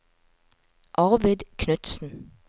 Arvid Knutsen